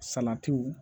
Salatiw